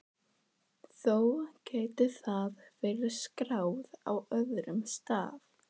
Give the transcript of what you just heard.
Þó gæti það verið skráð á öðrum stað.